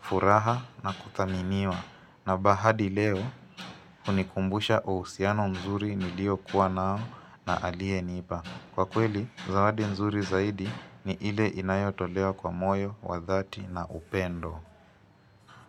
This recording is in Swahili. furaha na kuthaminiwa na bahadi leo hunikumbusha uhusiano mzuri nilio kuwa nao na alienipa. Kwa kweli, zawadi mzuri zaidi ni ile inayotolewa kwa moyo, wa dhati na upendo.